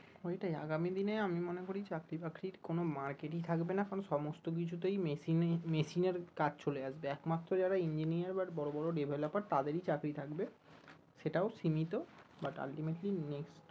ওই টাই আগামী দিনে আমি মনে করি চাকরি বাকরির কোনো market ই থাকবে না কারণ সমস্ত কিছুতেই মেশিনেই মেশিনের কাজ চলে আসবে, একমাত্র যারা enineer বা বড়ো বড়ো developer তাদেরই চাকরি থাকবে সেটাও সীমিত but ultimately next